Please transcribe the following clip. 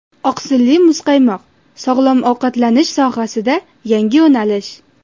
Oqsilli muzqaymoq: sog‘lom ovqatlanish sohasida yangi yo‘nalish.